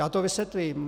Já to vysvětlím.